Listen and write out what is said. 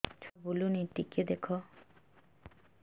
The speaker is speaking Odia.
ଛୁଆ ବୁଲୁନି ଟିକେ ଦେଖ